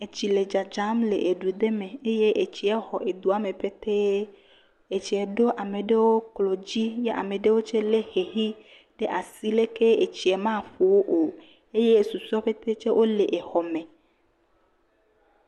Etsi le dzadzam le edu ɖe me eye etsie xɔ edua me ƒetee, etsie ɖo ame ɖewo klo dzo, ya ame ɖewo tsɛ lé xexi ɖe asi leke etsie maƒo wo o eye susɔewo ƒete tsɛ, wole exɔ me.